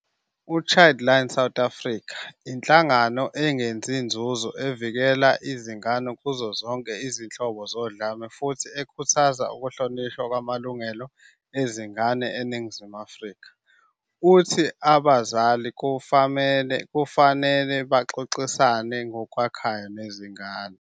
U-Childline South Africa, inhlangano engenzi nzuzo evikela izingane kuzo zonke izinhlobo zodlame futhi ekhuthaza ukuhlonishwa kwamalungelo ezingane eNingizimu Afrika, uthi abazali kumele baxoxisane ngokwakhayo nezingane.